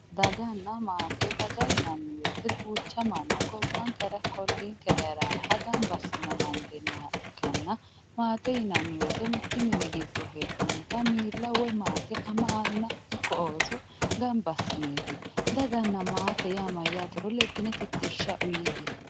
daganna maate daga yinanni woyiite ducha manna gobbankera ikko ollinkera heeraaha gamba assine amande yinayiiha ikkanna maate yinanni woyiite mittu mini giddo heedhannota miila woye maate ama anna ikko ooso gamba assineeti daganna maate yaa mayaatero leddine titirsha uyiiye"e.